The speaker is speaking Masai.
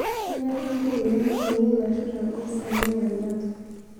kenyorr kakuyia emotonyi nashuta gos alang embata